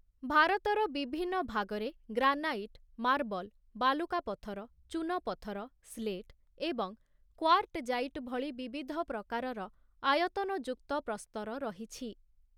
ଭାରତର ବିଭିନ୍ନ ଭାଗରେ ଗ୍ରାନାଇଟ, ମାର୍ବଲ, ବାଲୁକା ପଥର, ଚୂନପଥର, ସ୍ଲେଟ, ଏବଂ କ୍ୱାର୍ଟଜାଇଟ ଭଳି ବିବିଧ ପ୍ରକାରର ଆୟତନଯୁକ୍ତ ପ୍ରସ୍ତର ରହିଛି ।